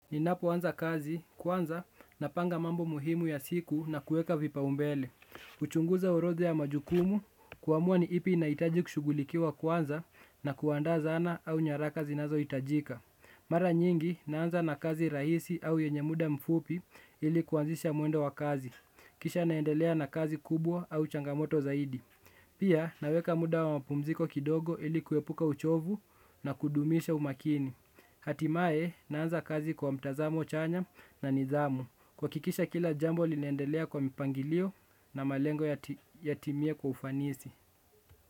Ninapoanza kazi, kwanza, napanga mambo muhimu ya siku na kueka vipaumbele. Huchunguza orodha ya majukumu, kuamua ni ipi inahitaji kushughulikiwa kwanza na kuandaa zana au nyaraka zinazohitajika. Mara nyingi, naanza na kazi rahisi au yenye muda mfupi ili kuanzisha mwendo wa kazi. Kisha naendelea na kazi kubwa au changamoto zaidi. Pia, naweka muda wa mpumziko kidogo ili kuepuka uchovu na kudumisha umakini. Hatimae naanza kazi kwa mtazamo chanya na nidhamu. Kuhakikisha kila jambo linaendelea kwa mpangilio na malengo yatimie kwa ufanisi.